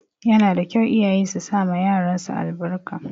Yana da kyau iyaye su sama yaran su albarka